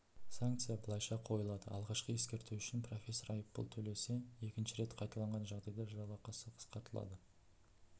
санкция былайша қойылады алғашқы ескерту үшін профессор айыппұл төлесе екінші рет қайталанған жағдайда жалақысы қысқартылады